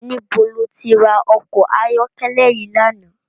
Nibó ló ti rá òkò àyòkèlè yi làná?